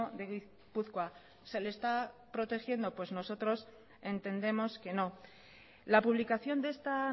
de gipuzkoa se le está protegiendo pues nosotros entendemos que no la publicación de esta